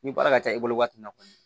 Ni baara ka ca i bolo waati min na kɔni